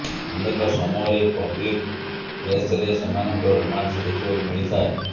ଅନେକ ସମୟରେ ପବ୍ଲିକ ପ୍ଲେସ୍ରେ ସେମାନଙ୍କ ରୋମାନ୍ସ ଦେଖିବାକୁ ମିଳିଥାଏ